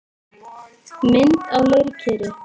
Mynd á leirkeri.